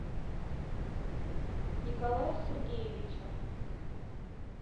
николаю сергеевичу